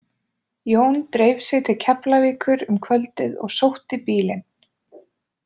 Jón dreif sig til Keflavíkur um kvöldið og sótti bílinn.